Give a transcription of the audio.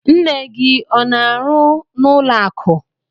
Nne gị ọ n'arụ n'ụlọ akụ?